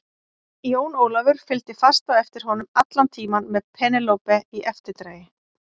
Jón Ólafur fylgdi fast á eftir honum allan tímann með Penélope í eftirdragi.